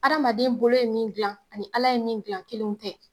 Adamaden bolo ye min gilan ani ala ye min gilan kelenw tɛ